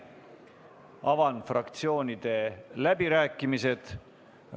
Avan fraktsioonide läbirääkimised.